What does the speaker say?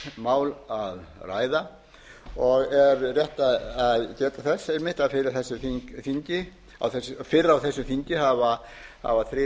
jafnræðismál að ræða og er rétt að geta þess að fyrr á þessu þingi hafa þrír þingmenn